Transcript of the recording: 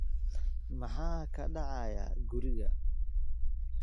Maxaa ka dhacaya guriga?